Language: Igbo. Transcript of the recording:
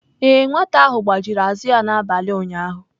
Ee, nwata ahụ gbajiri azụ ya n'abalị ụnyaahụ.